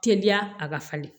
Teliya a ka falen